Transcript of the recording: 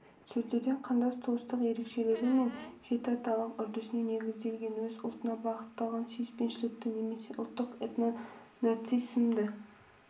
сөздерден қандас туыстық ерекшелігі мен жетіаталық үрдісіне негізделген өз ұлтына бағытталған сүйіспеншілікті немесе ұлттық этнонарциссизмді